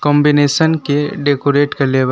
Combination के decorate कईले बा।